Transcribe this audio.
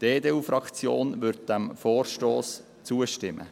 Die EDU-Fraktion wird diesem Vorstoss zustimmen.